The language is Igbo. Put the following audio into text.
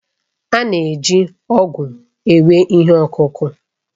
A na-eji ọ̀gu ewe ihe ọkụkụ